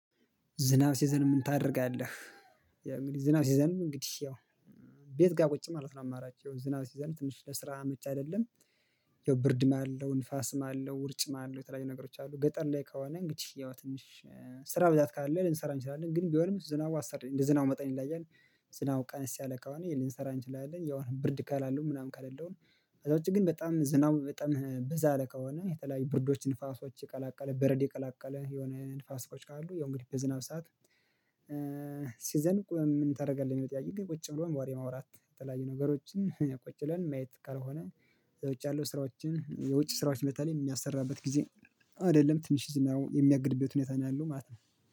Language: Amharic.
ዝናብ ሲዘንብ ምን ታደርጋለህ? ያው እንግዲህ ዝናብ ሲዘንብ እንግዲህ ያው ቤት ጋር ቁጭ ማለት ነው። አማራጭ ያው ዝናብ ሲዘንብ ትንሽ ለስራ አመች አይደለም። ያው ብርድም አለው ንፋስም አለው ውርጭም አለው የተለያዩ ነገሮች አሉ ገጠር ላይ ከሆና እንግዲህ ያው ትንሽ ስራ ብዛት ካለ ልንሰራ እንችላለን ግን ቢሆንም ዝናቡ አሰሪ እንደ ዝናቡ መጠን ይለያያል። ዝናቡ ቀንስ ያለ ከሆነ ልንሰራ እንችላለን። ያው ብርድ ካላሉ ምናምን ካልለው ነው አዛ ውጪ ግን በጣም ዝናቡ በጣም በዛ ያለ ከሆነ የተለያዩ ብርዶች ንፋሶች የቀላቀለ በረዶ የቀላቀለ የሆነ ንፋሶች ካሉ ያው እንግዲህ በዝናብ ሰዓት ሲዘንብ ምን ታደርጋለህ ነው? ጥያቄው ግን ቁጭ ብሎ ወሬ ማውራት የተለያዩ ነገሮችን ቁጭ ብለን ማየት ካልሆነ። የውጭ ያለው ስራዎችን የውጭ ስራዎች በተለይ የሚያሰራበት ጊዜ አይደለም ትንሽ ዝናቡ የሚያግድበት ሁኔታ ነው ያለው። ማለት ነው።